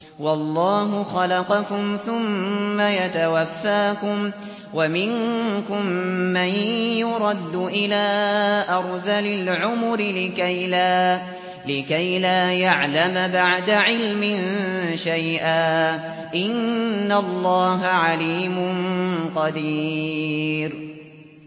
وَاللَّهُ خَلَقَكُمْ ثُمَّ يَتَوَفَّاكُمْ ۚ وَمِنكُم مَّن يُرَدُّ إِلَىٰ أَرْذَلِ الْعُمُرِ لِكَيْ لَا يَعْلَمَ بَعْدَ عِلْمٍ شَيْئًا ۚ إِنَّ اللَّهَ عَلِيمٌ قَدِيرٌ